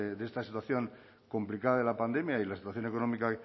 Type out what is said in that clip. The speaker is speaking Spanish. de esta situación complicada de la pandemia y la situación económica